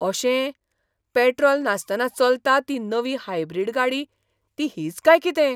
अशें! पेट्रोल नासतना चलता ती नवी हायब्रीड गाडी ती हीच काय कितें?